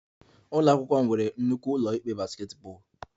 Ụlọ akwụkwọ m nwere nnukwu ụlọ ikpe basketball